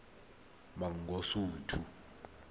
mangosuthu